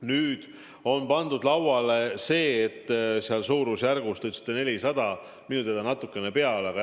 Nüüd on pandud lauale mõte, mis puudutab seda suurusjärgus 400 miljonit, nagu te ütlesite.